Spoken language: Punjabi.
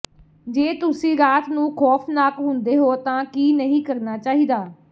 ਜੇ ਤੁਸੀਂ ਰਾਤ ਨੂੰ ਖ਼ੌਫ਼ਨਾਕ ਹੁੰਦੇ ਹੋ ਤਾਂ ਕੀ ਨਹੀਂ ਕਰਨਾ ਚਾਹੀਦਾ